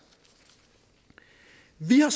vi har